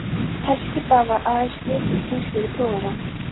Herskipa var aðeins getið í tengslum við togara.